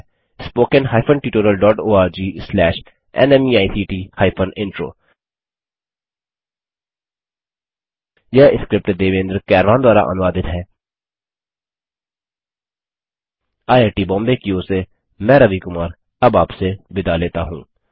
spoken hyphen tutorial dot O R G slash नमेक्ट hyphen intro यह script Devendra कैरवान द्वारा अनुवादित है आईआईटी बॉम्बे की ओर से मैं रवि कुमार अब आपसे विदा लेता हूँ